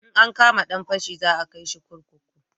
In an kama dan fashi za a kai shi kurkuku